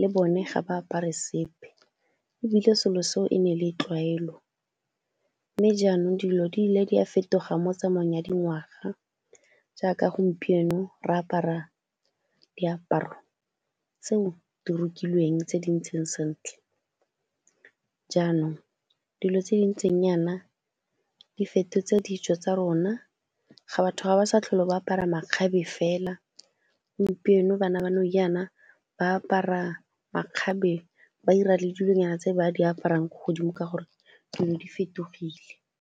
le bone ga ba apare sepe ebile selo seo e ne e le tlwaelo, mme jaanong dilo di ile di a fetoga mo tsamaong ya dingwaga jaaka gompieno re apara diaparo tseo di rokilweng tse di ntseng sentle, jaanong dilo tse di ntseng jaana di fetotse ditso tsa rona. Batho ga ba sa tlhole ba apara makgabe fela, gompieno bana ba ba apara makgabe ba dira le dilonyana tse ba di aparang ko godimo ka gore dilo di fetogile.